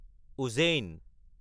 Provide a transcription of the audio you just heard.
Ujjain